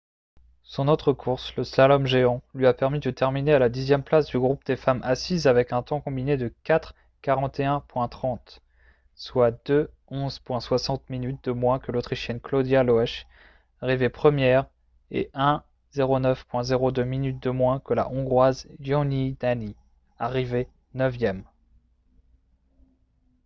son autre course le slalom géant lui a permis de terminer à la dixième place du groupe des femmes assises avec un temps combiné de 4:41.30 soit 2:11.60 minutes de moins que l'autrichienne claudia loesch arrivée première et 1:09.02 minutes de moins que la hongroise gyöngyi dani arrivée neuvième